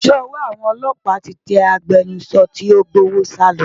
Ṣé ọwọ́ àwọn ọlọ́pàá ti tẹ agbẹnusọ tí ó gbé owó sálọ?